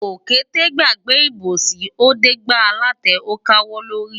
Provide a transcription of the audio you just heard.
Òkété gbàgbé ìbòsí, ó dé gbá alátẹ ó káwọ́ lórí.